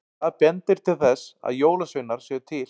Hvað bendir til þess að jólasveinar séu til?